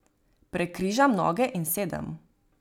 Prekrižam noge in sedem.